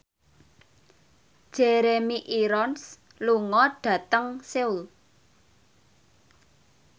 Jeremy Irons lunga dhateng Seoul